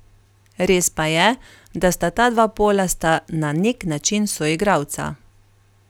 Res pa je, da sta ta dva pola sta na nek način soigralca.